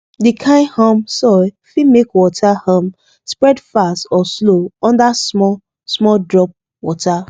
the kind um soil fit make water um spread fast or slow under small small drop water